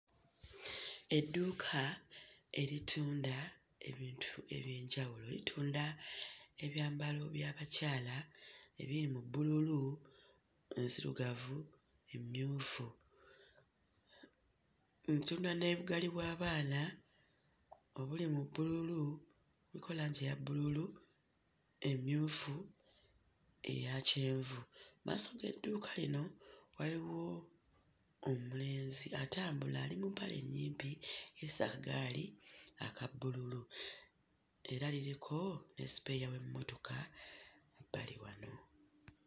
Edduuka eritunda ebintu eby'enjawulo litunda ebyambalo by'abakyala ebiri mu bbululu, enzirugavu, emmyufu mm ntunda ne bugaali bw'abaana obuli mu bbululu kuliko langi eya bbululu, emmyufu, eya kyenvu. Mmaaso g'edduuka lino waliwo omulenzi atambula ali mu mpale nnyimpi kese akagaali aka bbululu era liriko ne spare w'emmotoka bbali wano.